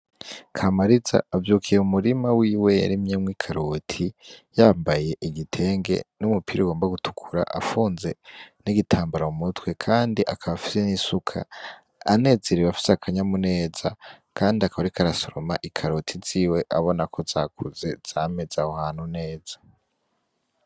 Kamariza avyukiye mu murima wiwe yarimyemwo ikaroti yambaye igitenge numupira ugomba gutukura afunze nigitambara mu mutwe kandi akaba afise nisuka anezerewe afise akanyamuneza ariko arasoroma ikaroti ziwe abonako zakuze zameze aho hantu neza.